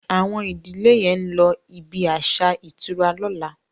Awon ìdílè yén ló ibí aṣa ìtura lọ̀la